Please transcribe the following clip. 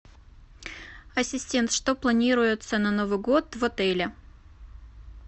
ассистент что планируется на новый год в отеле